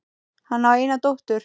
Hann á eina dóttur.